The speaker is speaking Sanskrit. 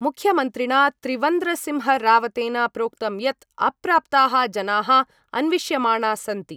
मुख्यमन्त्रिणा त्रिवन्द्रसिंहरावतेन प्रोक्तं यत् अप्राप्ताः जनाः अन्विष्यमाणा सन्ति।